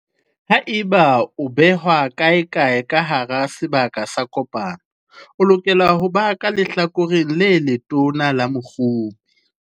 Haeba e behwa kaekae ka hara sebaka sa kopano, e lokela ho ba ka lehlakoreng le letona la mokgopi.